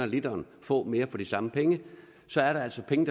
literen få mere for de samme penge så er der altså penge